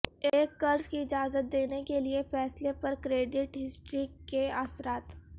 ایک قرض کی اجازت دینے کے لئے فیصلہ پر کریڈٹ ہسٹری کے اثرات